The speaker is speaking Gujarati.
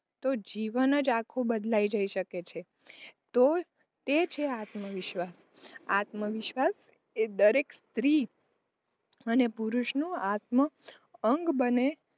તો જીવન જ આખું બદલાઈ જઈ શકે છે. તો તે છે આત્મવિશ્વાસ, આત્મવિશ્વાસ જે દરેક સ્ત્રી અને પુરુષનું આત્મઅંગ બને,